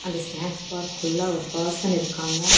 Snacks park உள்ள ஒரு person இருக்காங்க.